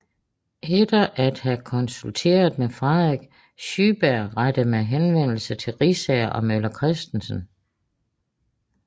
Efter at have konsulteret med Frederik Schyberg rettede man henvendelse til Riisager og Møller Kristensen